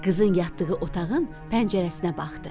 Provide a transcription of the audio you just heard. Qızın yatdığı otağın pəncərəsinə baxdı.